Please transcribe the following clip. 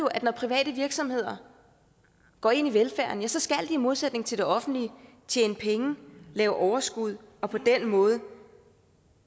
at når private virksomheder går ind i velfærden ja så skal de i modsætning til det offentlige tjene penge og lave overskud og på den måde